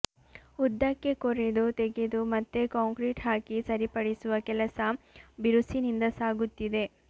ಉದ್ದಕ್ಕೆ ಕೊರೆದು ತೆಗೆದು ಮತ್ತೆ ಕಾಂಕ್ರೀಟ್ ಹಾಕಿ ಸರಿಪಡಿಸುವ ಕೆಲಸ ಬಿರುಸಿನಿಂದ ಸಾಗುತ್ತಿದೆ